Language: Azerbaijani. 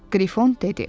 Qrifon dedi: